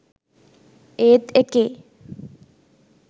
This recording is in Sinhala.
ඒත් එකේ